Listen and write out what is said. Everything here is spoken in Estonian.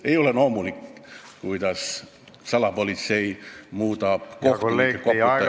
Ei ole loomulik, kui salapolitsei muudab kohtunikke koputajateks ...